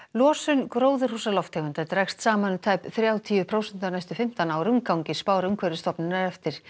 losun gróðurhúsalofttegunda dregst saman um tæp þrjátíu prósent á næstu fimmtán árum gangi spár Umhverfisstofnunar eftir